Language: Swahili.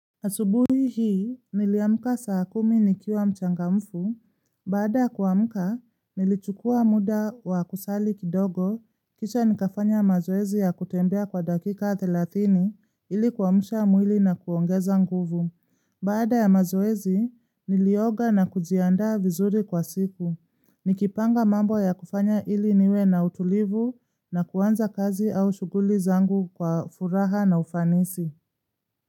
Asubuhi hii, niliamuka saa kumi nikiwa mchangamfu, baada kuamuka, nilichukua muda wa kusali kidogo, kisha nikafanya mazoezi ya kutembea kwa dakika thelathini ili kuamusha mwili na kuongeza nguvu. Baada ya mazoezi, nilioga na kujiaanda vizuri kwa siku, nikipanga mambo ya kufanya ili niwe na utulivu na kuanza kazi au shuguli zangu kwa furaha na ufanisi.